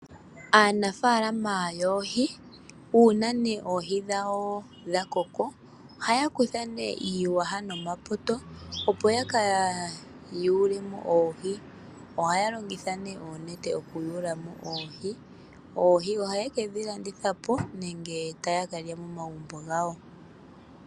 Aanafaalama yoohi uuna ne oohi dhawo dha koko, ohaya kutha ne iiyaha nomapoto opo yaka yuule mo oohi. Ohaya longitha ne oonete okuyuula mo oohi, oohi ohaye ke dhi landitha po nenge taya ka lya momagumbo gawo.